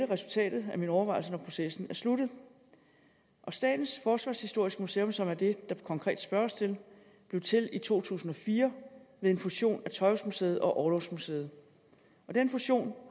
resultatet af mine overvejelser når processen er sluttet statens forsvarshistoriske museum som er det der konkret spørges til blev til i to tusind og fire ved en fusion af tøjhusmuseet og orlogsmuseet og den fusion